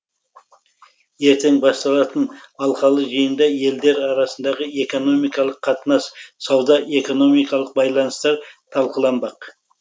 ертең басталатын алқалы жиында елдер арасындағы экономикалық қатынас сауда экономикалық байланыстар талқыланбақ